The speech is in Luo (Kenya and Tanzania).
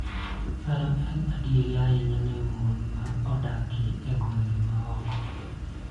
Mano en adier ahinya ne mon ma odak e gwenge ma oko,